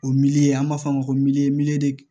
O miliyɔn ye an b'a fɔ a ma ko